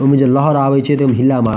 इमें जो लहर आवी छे एकदम हिला मार --